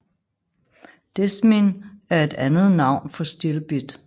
Desmin er et andet navn for stilbit